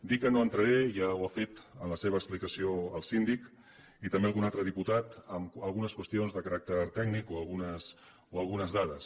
dir que no entraré ja ho ha fet en la seva explicació el síndic i també algun altre diputat en algunes qüestions de caràcter tècnic o algunes dades